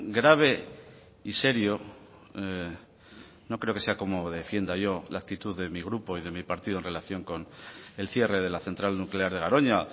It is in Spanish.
grave y serio no creo que sea como defienda yo la actitud de mi grupo y de mi partido en relación con el cierre de la central nuclear de garoña